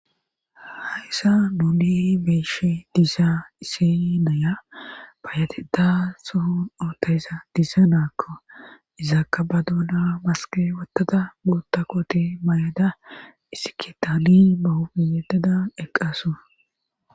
hayssa nuuli beeshe diisa ise naya bayateta suhun ootayza diisaa naakko izaakka ba duuna maske wottada buota koti mayada isikitaali bahopi yettada eqqasu